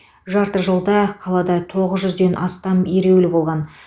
жарты жылда қалада тоғыз жүзден астам ереулі болған